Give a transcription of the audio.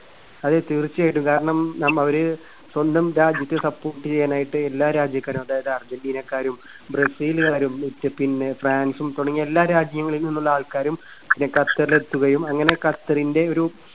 അതെ തീർച്ചയായിട്ടും. കാരണം നമ്മ അവര് സ്വന്തം രാജ്യത്തെ support ചെയ്യാനായിട്ട് എല്ലാ രാജ്യക്കാരും അതായത് argentina ക്കാരും brazil കാരും പിന്നെ ഫ്രാൻസും തുടങ്ങിയ എല്ലാ രാജ്യങ്ങളിൽനിന്നുള്ള ആൾക്കാരും ഖ~ഖത്തറിൽ എത്തുകയും. അങ്ങനെ ഖത്തറിന്റെ ഒരു